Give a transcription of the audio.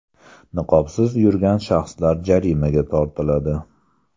Niqobsiz yurgan shaxslar jarimaga tortiladi.